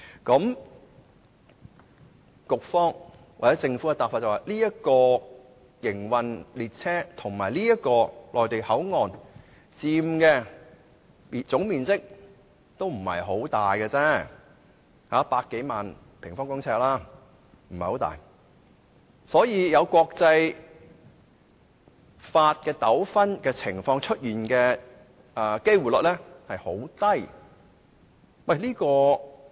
根據局長和政府的答覆，營運中的列車和內地口岸區所佔的總面積並不很大，只有100多萬平方公尺，因此發生涉及國際法的糾紛的機會率很低。